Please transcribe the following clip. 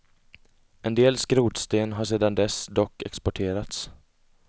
En del skrotsten har sedan dess dock exporterats.